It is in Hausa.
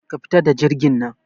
Ka fita da jirgin nan